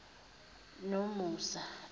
nomusa